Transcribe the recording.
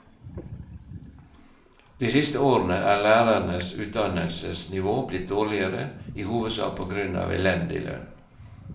De siste årene er lærernes utdannelsesnivå blitt dårligere, i hovedsak på grunn av elendig lønn.